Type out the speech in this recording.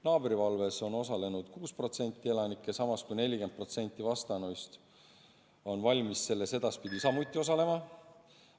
Naabrivalves on osalenud 6% elanikest, samas kui 40% vastanuist on valmis selles ka edaspidi osalema.